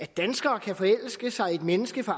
dansker kan forelske sig i et menneske fra